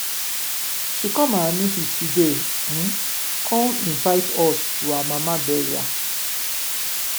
she come our meeting today um come invite us to her mama burial.